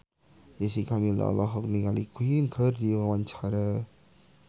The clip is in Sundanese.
Jessica Milla olohok ningali Queen keur diwawancara